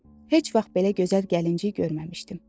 Heç vaxt belə gözəl gəlinciyi görməmişdim.